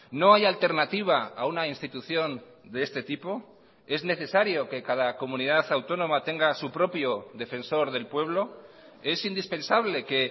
no hay alternativa a una institución de este tipo es necesario que cada comunidad autónoma tenga su propio defensor del pueblo es indispensable que